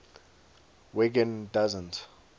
wiggin doesn t